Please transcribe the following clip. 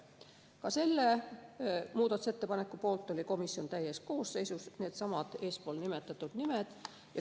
Ka selle muudatusettepaneku poolt oli komisjon täies koosseisus, needsamad eespool nimetatud nimed.